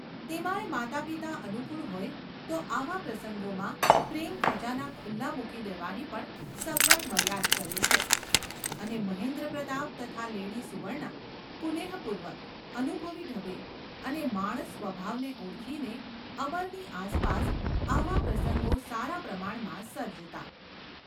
તેમાં યે માતાપિતા અનુકૂળ હોય તો આવા પ્રસંગોમાં પ્રેમખજાના ખુલ્લા મૂકી દેવાની પણ સગવડ મળ્યા જ કરે છે; અને મહેન્દ્રપ્રતાપ તથા લેડી સુવર્ણા કુનેહપૂર્વક, અનુભવી ઢબે અને માણસ સ્વભાવને ઓળખીને અમરની આસપાસ આવા પ્રસંગો સારા પ્રમાણમાં સર્જતા.